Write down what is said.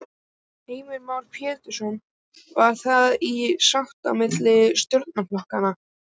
Heimir Már Pétursson: Var þetta í sátt á milli stjórnarflokkanna?